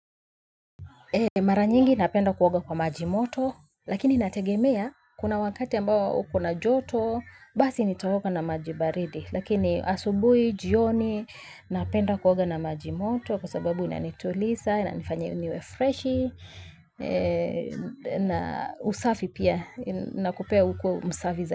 Mara nyingi napenda kuoga kwa majimoto, lakini inategemea kuna wakati ambao uko na joto, basi nitaoga na maji baridi. Lakini asubuhi, jioni, napenda kuoga na majimoto kwa sababu inanituliza, inanifanya niwe freshi, na usafi pia, na kupea ukuwe msafi zaidi.